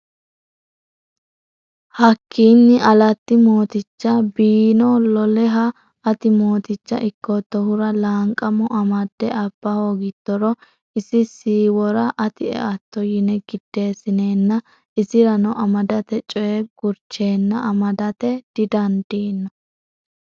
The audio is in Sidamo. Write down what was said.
Hakkiinni Alatti mooticha Bii’no Loleha, “Ati mooticha ikkoottohura Laanqamo amadde abba hoogittoro isi siiwora ati eatto,” yine giddeessineenna isirano amadate coy gurcheenna amadate didandiino.